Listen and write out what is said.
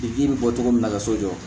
I ji bɛ bɔ cogo min na ka so jɔ